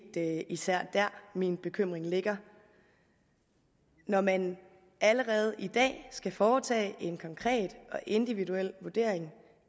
især der min bekymring ligger når man allerede i dag skal foretage en konkret og individuel vurdering